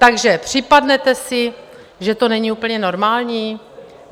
Takže připadnete si, že to není úplně normální?